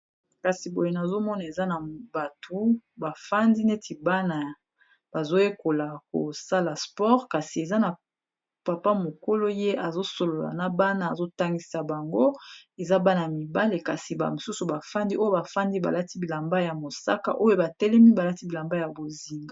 Kasi boye nazomona eza na bato bafandi neti , bana bazoyekola kosala sport kasi eza na papa mokolo ye azosolola na bana azotangisa bango, eza bana mibale kasi mosusu bafandi oyo bafandi balati bilamba ya mosaka oyo batelemi balati bilamba ya bozinga.